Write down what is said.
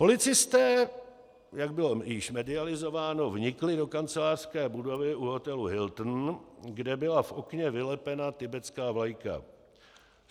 Policisté, jak již bylo medializováno, vnikli do kancelářské budovy u hotelu Hilton, kde byla v okně vylepena tibetská vlajka.